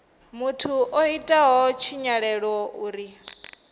muthu o itaho tshinyalelo uri